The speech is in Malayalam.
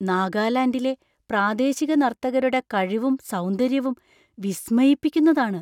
നാഗാലാൻഡിലെ പ്രാദേശിക നർത്തകരുടെ കഴിവും സൗന്ദര്യവും വിസ്മയിപ്പിക്കുന്നതാണ്.